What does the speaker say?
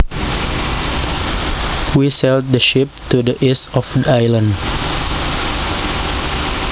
We sailed the ship to the east of the island